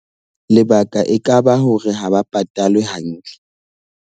Lebaka e kaba hore ha ba patalwe hantle.